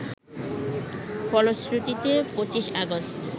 ফলশ্রুতিতে ২৫ আগস্ট